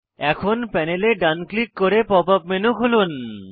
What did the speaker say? এখন প্যানেলে ডান ক্লিক করে পপ আপ মেনু খুলুন